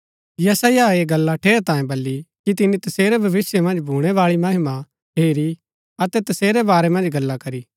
यशायाह ऐह गल्ला ठेरैतांये बली कि तिनी तसेरी भविष्‍य मन्ज भूणैबाळी महिमा हेरी अतै तसेरै बारै मन्ज गल्ला करी